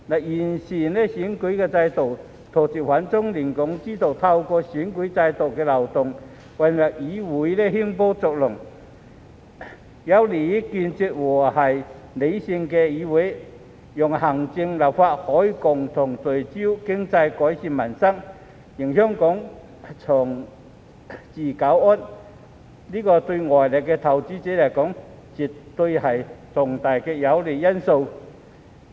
完善選舉制度，杜絕反中亂港之徒透過選舉制度漏洞混入議會興風作浪，有利於構建和平理性的議會，讓行政、立法可以共同聚焦經濟，改善民生，令香港長治久安，這對外來投資者而言絕對是重大有利因素。